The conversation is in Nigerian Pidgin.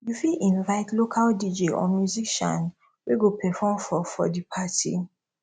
you fit invite local dj or musician wey go perform for for di party